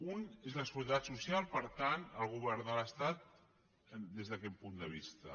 una és la seguretat social per tant el govern de l’estat des d’aquest punt de vista